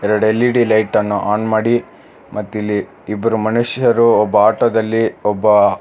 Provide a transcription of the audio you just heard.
ಎರಡ್ L E D light ಅನ್ನು on ಮಾಡಿ ಮತ್ ಇಲ್ಲಿ ಇಬ್ಬರು ಮನುಷ್ಯರು ಒಬ್ಬ ಆಟೋ ದಲ್ಲಿ ಒಬ್ಬ.